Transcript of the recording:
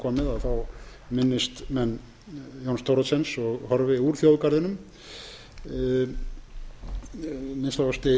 er komið minnist menn jóns thoroddsens og horfi úr þjóðgarðinum að minnsta kosti eins og